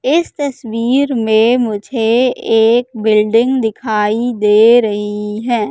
इस तस्वीर में मुझे एक बिल्डिंग दिखाई दे रही है।